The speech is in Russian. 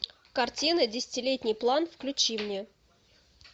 картины десятилетний план включи мне